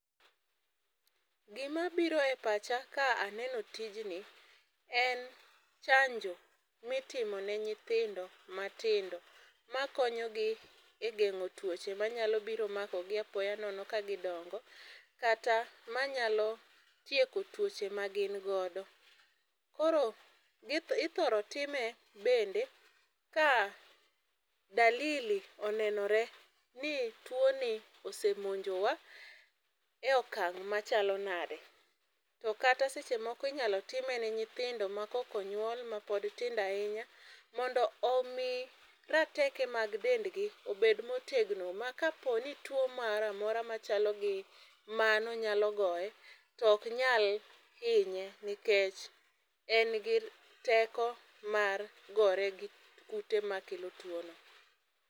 Gima biro e pacha ka aneno tijni en chanjo mitimo ne nyithindo matindo makonyogi e geng'o tuoche manyalo biro mako gi apoya nono ka gidongo. Kata manyalo tieko tuoche ma gin godo. Koro ithoro time bende ka dalili onenore ni tuo ni ose monjo wa e okang' machalo nade. To kata seche moko inyalo time ne nyithindo ma kok onyuol ma pod tindo ahinya mondo omi rateke mag dendgi obed motegno ma ka po ni tuo moro amora machal gi mano nyalo goye to ok nyal hinye nikech en gi teko mar gore gi kute makelo tuo no